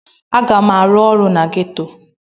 Aga m arụ ọrụ na geto.